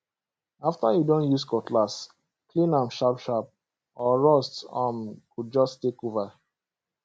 after you don use cutlass clean am sharp sharp or rust um go just take over